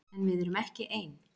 En við erum ekki ein.